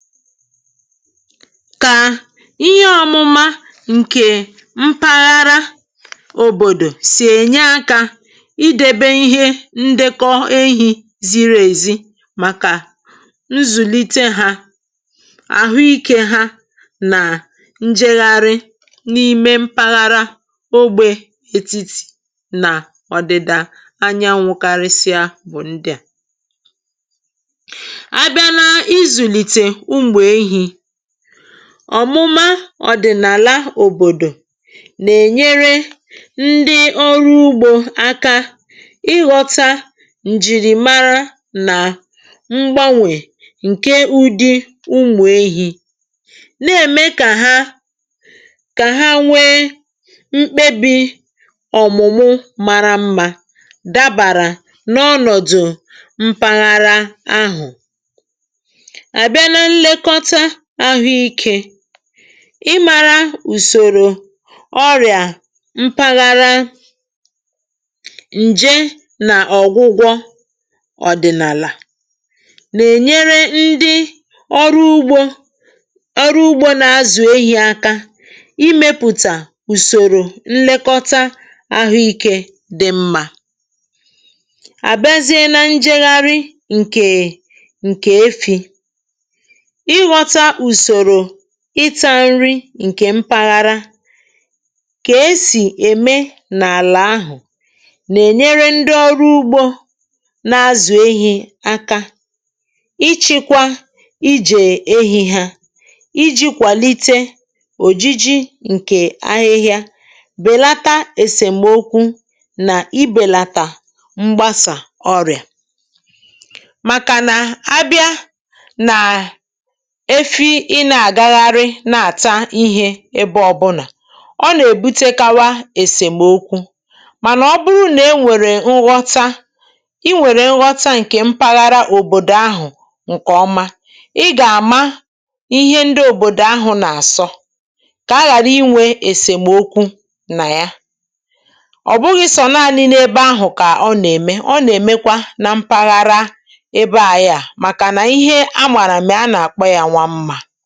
Kà ihe ọmụma ǹkè mpaghara òbòdò sì ènye akȧ idėbė ihe ndekọ ehi ziri èzi, màkà nzùlite hȧ, àhụikė hȧ, nà njègharị n’ime mpaghara ogbė etiti nà ọ̀dị̀dà Anyanwụ kari sịa bụ̀ ndị à. A bịa na ịzụlite ụmụ ehi, ọ̀mụma ọ̀dị̀nàla òbòdò nà-ènyere ndị ọrụ ugbȯ aka ịghọta ǹjìrì mara nà mgbanwè ǹke ụdị umù ehi, na-eme kà ha kà ha nwee mkpebi ọ̀mụ̀mụ mara mma, dabàrà n’ọnọ̀dụ̀ mpàghara ahụ. Abịa na-nlekọta ahụikė, ịmȧrȧ ùsòrò ọrị̀à mpaghara, ǹje nà ọ̀gwụgwọ ọ̀dị̀nàlà, nà-ènyere ndị ọrụ ugbȯ ọrụ ugbȯ nà-azụ̀ ehi aka imėpụ̀tà ùsòrò nlekọta ahụikė dị mmȧ. Àbịazị a na njėgharị ǹkè nké efi, ị ghọta ùsòrò ịtȧ nri ǹkè mpaghara, kà esì ème n’àlà ahụ̀, nà-ènyere ndị ọrụ ugbȯ na-azụ̀ ehi̇ aka ịchị kwa ijè ehì ha, iji kwàlite òjiji ǹkè ahịhịa, bèlata èsèmokwu, nà ibèlàtà mgbasà ọrị̀à. Màkà nà abịa nà efi ì na agagharị i na-àta ihė ebe ọbụnà, ọ nà-èbutekawa èsèmokwu. Mànà ọ bụrụ nà e nwèrè nghọta ị nwèrè nghọta ǹkè mpaghara òbòdò ahụ̀ ǹkè ọma, ị gà-àma ihe ndị òbòdò ahụ̀ nà-àsọ, kà a ghàra inwė èsèmokwu nà ya. Ọ bụghị sọ̀ọ nani n’ebe ahụ̀ kà ọ nà-ème, ọ nà-èmekwa na mpaghara ebeà ya. Màkà nà ihe a màrà mè a nà-àkpo yȧ Nwa Mma.